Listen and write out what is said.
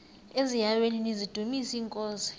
eziaweni nizidumis iinkosi